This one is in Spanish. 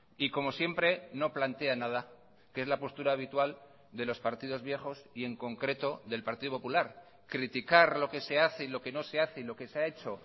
y como siempre no plantea nada que es la postura habitual de los partidos viejos y en concreto del partido popular criticar lo que se hace y lo que no se hace y lo que se ha hecho